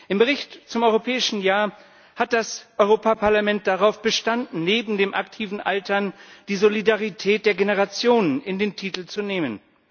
Im Bericht zum Europäischen Jahr hat das Europaparlament darauf bestanden, neben dem aktiven Altern die Solidarität der Generationen in den Titel zu nehmen.